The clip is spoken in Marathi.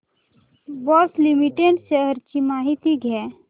बॉश लिमिटेड शेअर्स ची माहिती द्या